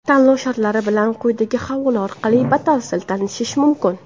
Tanlov shartlari bilan quyidagi havola orqali batafsil tanishish mumkin.